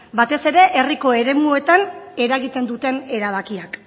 batez ere herriko eremuetan eragiten duten erabakiak